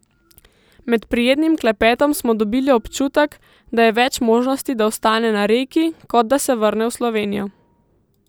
Med prijetnim klepetom smo dobili občutek, da je več možnosti, da ostane na Reki, kot da se vrne v Slovenijo.